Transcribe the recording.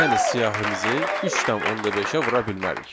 Yəni siyahimizi 3,5-ə vura bilmərik.